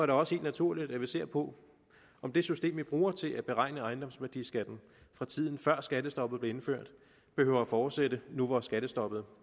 det også helt naturligt at vi ser på om det system vi bruger til at beregne ejendomsværdiskatten fra tiden før skattestoppet blev indført behøver at fortsætte nu hvor skattestoppet